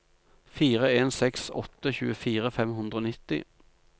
fire en seks åtte tjuefire fem hundre og nitti